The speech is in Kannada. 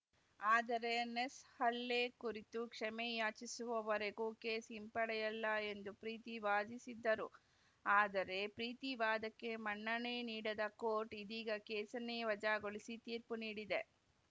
ಆದರೆ ನೆಸ್‌ ಹಲ್ಲೆ ಕುರಿತು ಕ್ಷಮೆ ಯಾಚಿಸುವವರೆಗೂ ಕೇಸ್‌ ಹಿಂಪಡೆಯಲ್ಲ ಎಂದು ಪ್ರೀತಿ ವಾದಿಸಿದ್ದರು ಆದರೆ ಪ್ರೀತಿ ವಾದಕ್ಕೆ ಮನ್ನಣೆ ನೀಡದ ಕೋರ್ಟ್‌ ಇದೀಗ ಕೇಸನ್ನೇ ವಜಾಗೊಳಿಸಿ ತೀರ್ಪು ನೀಡಿದೆ